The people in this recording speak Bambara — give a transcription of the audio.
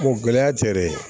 gɛlɛya tɛ dɛ